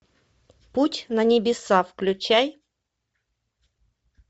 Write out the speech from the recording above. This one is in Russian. путь на небеса включай